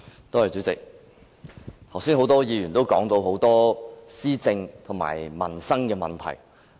代理主席，剛才多位議員提到種種施政及民生問題。